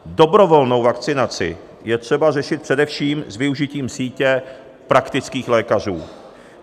Dobrovolnou vakcinaci je třeba řešit především s využitím sítě praktických lékařů.